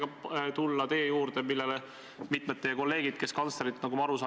Ma toon jälle konkreetse näite, see on Indrek Tarand, kelle vastu ei algatatud mitte midagi, kuigi ta selgelt rikkus seadust.